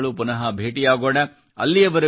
ಮುಂದಿನ ಬಾರಿ ಮುಂದಿನ ತಿಂಗಳು ಪುನಃ ಭೇಟಿಯಾಗೋಣ